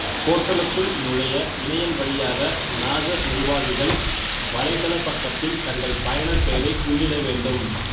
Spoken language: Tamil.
போர்ட்டலுக்குள் நுழைய இணையம் வழியாக நாசர் நிர்வாகிகள் வலைத்தளப் பக்கத்தில் தங்கள் பயனர்பெயரை உள்ளிட வேண்டும்